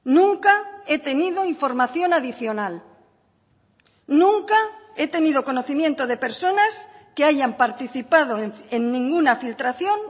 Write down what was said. nunca he tenido información adicional nunca he tenido conocimiento de personas que hayan participado en ninguna filtración